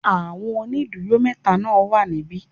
Àwọn ónìdúró métaa náà wà níbí